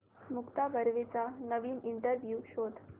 मुक्ता बर्वेचा नवीन इंटरव्ह्यु शोध